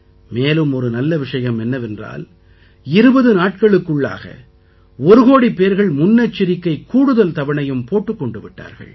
மேலும் ஒரு நல்ல விஷயம் என்னவென்றால் 20 நாட்களுக்குள்ளாக ஒரு கோடி பேர்கள் முன்னெச்சரிக்கை கூடுதல் தவணையும் போட்டுக் கொண்டு விட்டார்கள்